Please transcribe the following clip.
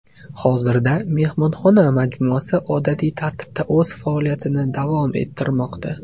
Hozirda mehmonxona majmuasi odatiy tartibda o‘z faoliyatini davom ettirmoqda.